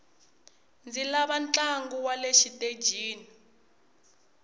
ndzi lava ntlangu wale xitejini